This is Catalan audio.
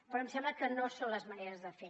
però em sembla que no és la manera de fer